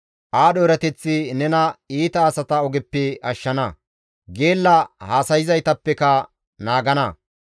Aadho erateththi nena iita asata ogeppe ashshana; geella haasayzaytappeka nena naagana.